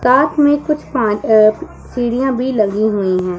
साथ में कुछ पा अ सीढ़ियां भी लगी हुई है।